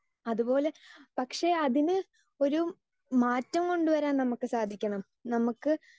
Speaker 2 അതുപോലെ പക്ഷേ അതിന് ഒരു മാറ്റം കൊണ്ടുവരാൻ നമുക്ക് സാധിക്കണം. നമുക്ക്